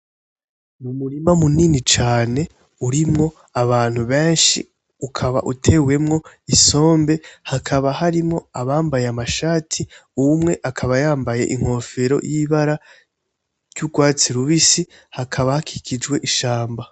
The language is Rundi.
N'umurima munini cane urimwo abantu benshi, ukaba utewemwo isombe hakaba harimwo abambaye amashati umwe akaba yambaye inkofero y'ibara ry'urwatsi rubisi hakaba hakikijwe ishamba.